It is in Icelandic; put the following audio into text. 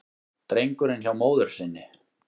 Drengurinn hjá móður sinni